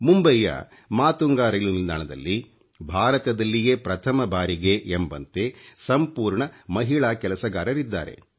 ಮುಂಬೈಯ ಮಾತುಂಗಾ ರೈಲು ನಿಲ್ದಾಣದಲ್ಲಿ ಭಾರತದಲ್ಲಿಯೇ ಪ್ರಥಮ ಬಾರಿಗೆ ಎಂಬಂತೆ ಸಂಪೂರ್ಣ ಮಹಿಳಾ ಕೆಲಸಗಾರರಿದ್ದಾರೆ